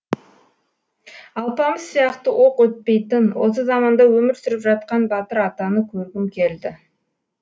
алпамыс сияқты оқ өтпейтін осы заманда өмір сүріп жатқанбатыр атаны көргім келді